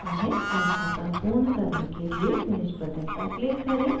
संस्थापन पूर्ण करने के लिए finish button पर click करें